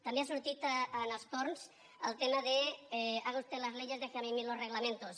també ha sortit en els torns el tema de haga usted las leyes déjeme a mí los reglamentos